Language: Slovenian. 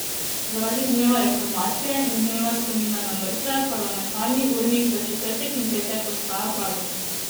Zaradi dneva reformacije in dneva spomina na mrtve parlamentarni urnik za četrtek in petek ostaja prazen.